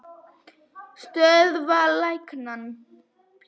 Stöðva lekann.